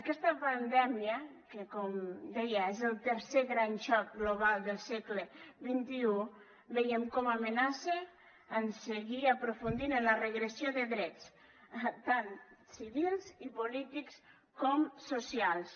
aquesta pandèmia que com deia és el tercer gran xoc global del segle xxi veiem com amenaça en seguir aprofundint en la regressió de drets tant civils i polítics com socials